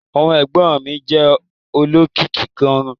Ọmọ ẹ̀gbọ́n mi jẹ́ olókìkí gan-an